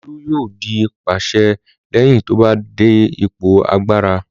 Olu yóò di pàṣẹ lẹ́yìn tó bá dé ipò agbára.